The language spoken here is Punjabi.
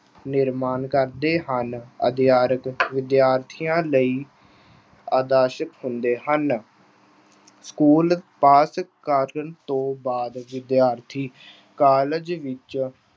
ਨਿਰਮਾਣ ਕਰਦੇ ਹਨ। ਅਧਿਆਪਕ ਵਿਦਿਆਰਥੀਆਂ ਲਈ ਆਦਰਸ਼ ਹੁੰਦੇ ਹਨ। schools ਪਾਸ ਕਰਨ ਤੋਂ ਬਾਅਦ ਵਿਦਿਆਰਥੀ college ਵਿੱਚ